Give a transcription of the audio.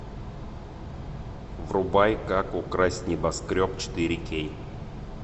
врубай как украсть небоскреб четыре кей